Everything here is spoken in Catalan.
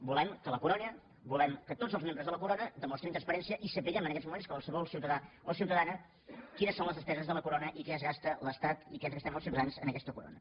volem que la corona volem que tots els membres de la corona demostrin transparència i sapiguem en aquests moments qualsevol ciutadà o ciutadana quines són les despeses de la corona i què es gasta l’estat i què ens gastem els ciutadans en aquesta corona